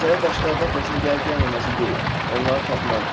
Məsələ daşlardan xoşun gəlib-gəlməməsi deyil, onları tapmaqdır.